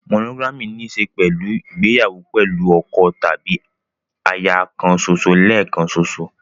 Monogamy ní í ṣe pẹ̀lú ìgbéyàwó pẹ̀lú ọkọ tàbí aya kan ṣoṣo lẹ́ẹ̀kan ṣoṣo.